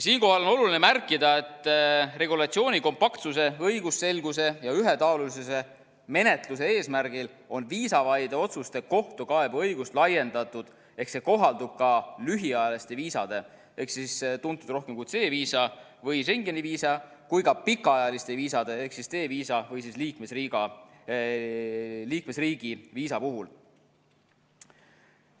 Siinkohal on oluline märkida, et regulatsiooni kompaktsuse, õigusselguse ja ühetaolise menetluse eesmärgil on viisavaide otsuste kohtukaebeõigust laiendatud ehk see kohaldub ka lühiajaliste viisade, mis on tuntud rohkem kui C-viisa või Schengeni viisa, ja ka pikaajaliste viisade ehk D-viisa või siis liikmesriigi viisa puhul.